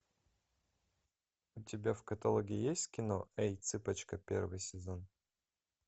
у тебя в каталоге есть кино эй цыпочка первый сезон